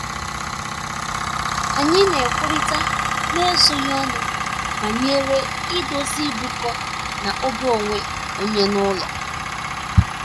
Anyị na-ekwurịta n'ezoghị ọnụ banyere idozi ịbụkọ na oge onwe onye n'ụlọ.